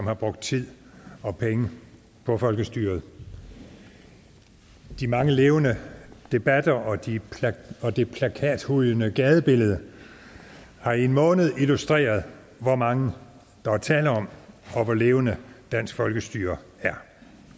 har brugt tid og penge på folkestyret de mange levende debatter og det plakathujende gadebillede har i en måned illustreret hvor mange der er tale om og hvor levende dansk folkestyre er